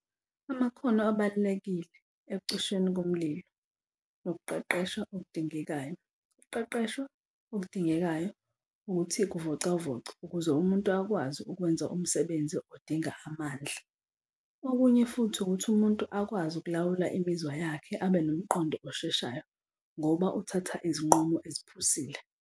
Amakhono abalulekile ekucishweni komlilo nokuqeqeshwa okudingekayo. Ukuqeqeshwa okudingekayo ukuthi kuvocavocwe ukuze umuntu akwazi ukwenza umsebenzi odinga amandla. Okunye futhi ukuthi umuntu akwazi ukulawula imizwa yakhe abe nomqondo osheshayo ngoba uthatha izinqumo eziphusile.